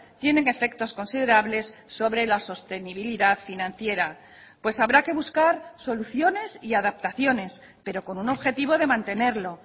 tienen efectos considerables sobre la sostenibilidad financiera pues habrá que buscar soluciones y adaptaciones pero con un objetivo de mantenerlo